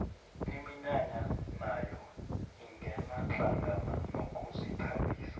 iminyanya nayo ingena hlangana nokuzithabisa